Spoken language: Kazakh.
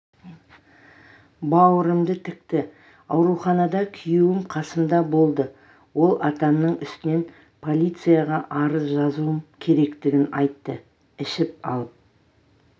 бауырымды тікті ауруханада күйеуім қасымда болды ол атамның үстінен полицияға арыз жазуым керектігін айтты ішіп алып